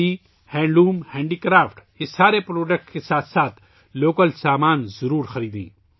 khadi, handloom, دستکاری، ان تمام مصنوعات کے ساتھ ساتھ مقامی اشیا ضرور خریدیں